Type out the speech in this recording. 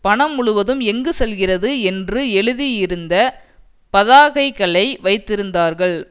பணம் முழுவதும் எங்கு செல்கிறது என்று எழுதியிருந்த பதாகைகளை வைத்திருந்தார்கள்